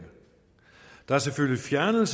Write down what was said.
der er selvfølgelig fjernet